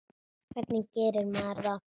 Hvernig gerir maður það?